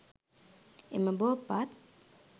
එම බෝපත්